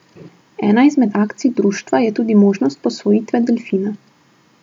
Ena izmed akcij društva je tudi možnost posvojitve delfina.